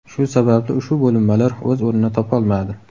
Shu sababli ushbu bo‘linmalar o‘z o‘rnini topolmadi.